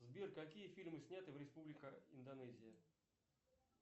сбер какие фильмы сняты в республика индонезия